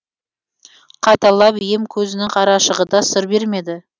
қайталап ем көзінің қарашығы да сыр бермеді